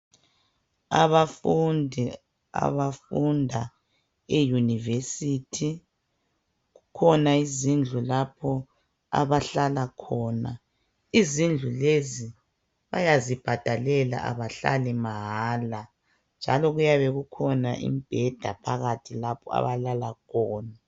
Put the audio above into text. Abafundi abafunda eyunivesithi kukhona izindlu lapho abahlala khona, izindlu lezi bayazibhadalela abahlali mahala njalo kuyabe kukhona imibheda phakathi lapho abalala khona.